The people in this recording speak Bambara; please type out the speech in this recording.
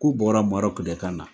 K'u bɔra Maroc de kana